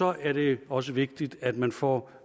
er det også vigtigt at man får